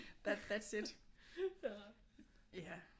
That's it ja